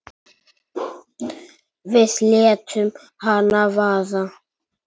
Við létum hana vaða.